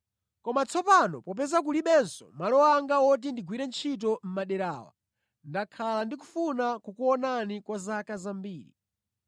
Koma tsopano popeza kulibenso malo anga woti ndigwire ntchito mʼmadera awa, ndakhala ndikufuna kukuonani kwa zaka zambiri.